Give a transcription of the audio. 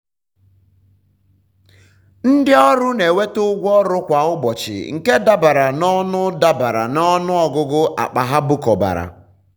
ndị ọrụ na-enweta ụgwọ ọrụ kwa ụbọchị nke dabere na ọnụ dabere na ọnụ ọgụgụ akpa ha bukọbara.